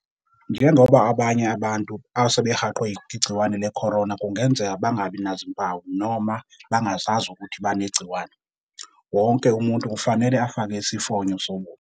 Njengoba abanye abantu asebehaqwe igciwane le-corona kungenzeka bangabi nazimpawu noma bangazazi ukuthi banegciwane, wonke umuntu kufanele afake isifonyo sobuso.